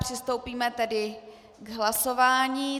Přistoupíme tedy k hlasování.